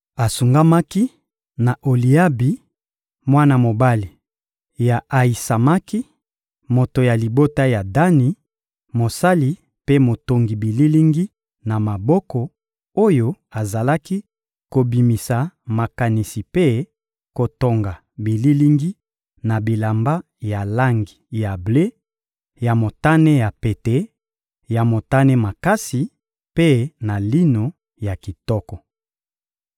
Asungamaki na Oliabi, mwana mobali ya Ayisamaki, moto ya libota ya Dani, mosali mpe motongi bililingi na maboko, oyo azalaki kobimisa makanisi mpe kotonga bililingi na bilamba ya langi ya ble, ya motane ya pete, ya motane makasi mpe na lino ya kitoko.